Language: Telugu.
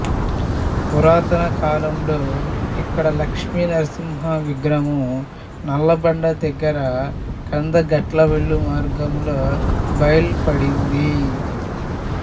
పురాతన కాలములో ఇక్కడ లక్ష్మీనరసింహ విగ్రహము నల్లబండ దగ్గర కందగట్ల వెళ్లు మార్గంలో బయల్పడింది